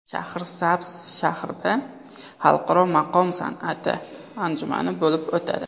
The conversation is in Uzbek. Shahrisabz shahrida Xalqaro maqom san’ati anjumani bo‘lib o‘tadi.